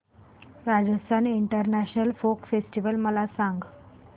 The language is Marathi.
राजस्थान इंटरनॅशनल फोक फेस्टिवल मला सांग